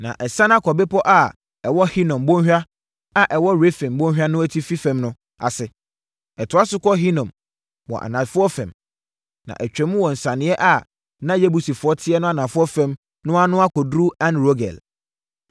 na ɛsiane akɔ bepɔ a ɛwɔ Hinom bɔnhwa a ɛwɔ Refaim bɔnhwa no atifi fam no ase. Ɛtoa so kɔ Hinom wɔ anafoɔ fam, na atwam wɔ nsianeɛ a na Yebusifoɔ teɛ no anafoɔ fam na akɔduru En-Rogel.